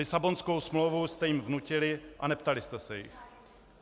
Lisabonskou smlouvu jste jim vnutili a neptali jste se jich.